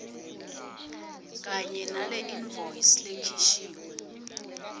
kanye naleinvoice lekhishiwe